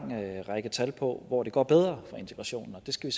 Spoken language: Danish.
række tal på hvor det går bedre med integrationen og det skal